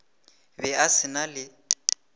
be a se na le